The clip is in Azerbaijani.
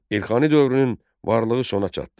Elxani dövrünün varlığı sona çatdı.